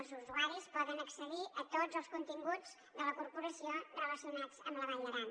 els usuaris poden accedir a tots els continguts de la corporació relacionats amb la vall d’aran